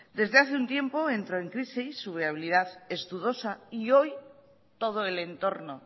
verdad desde hace un tiempo entra en crisis su viabilidad es dudosa y hoy todo el entorno